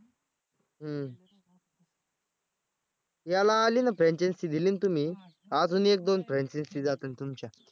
हं याला आली ना franchise दिली ना तुम्ही अजून एक दोन franchise जातील तुमच्या